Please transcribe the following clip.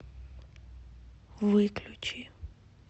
выключи